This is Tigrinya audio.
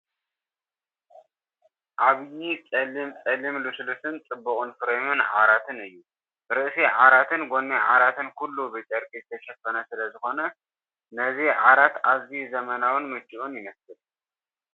ዓብይ ጸሊም ጸሊም ልስሉስን ጽቡቕን ፍሬም ዓራት እዩ። ርእሲ ዓራትን ጎኒ ዓራትን ኩሉ ብጨርቂ ዝተሸፈነ ስለዝኾነ ነዚ ዓራት ኣዝዩ ዘመናውን ምቹእን ይመስል፡፡